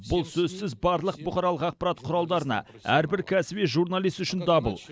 бұл сөзсіз барлық бұқаралық ақпарат құралдарына әрбір кәсіби журналист үшін дабыл